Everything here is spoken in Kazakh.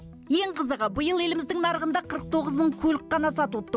ең қызығы биыл еліміздің нарығында қырық тоғыз мың көлік қана сатылыпты